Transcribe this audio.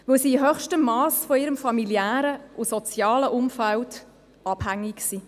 Denn sie sind in höchstem Masse von ihrem familiären und sozialen Umfeld abhängig.